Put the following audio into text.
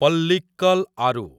ପଲ୍ଲିକ୍କଲ୍ ଆରୁ